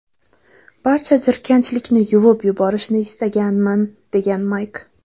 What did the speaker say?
Barcha jirkanchlikni yuvib yuborishni istaganman”, degan Mayk.